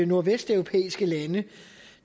nordvesteuropæiske lande